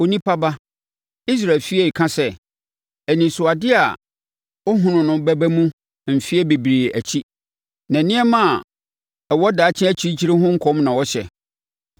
“Onipa ba, Israel efie reka sɛ, ‘Anisoadeɛ a ɔhunu no bɛba mu mfeɛ bebree akyi, na nneɛma a ɛwɔ daakye akyirikyiri ho nkɔm na ɔhyɛ.’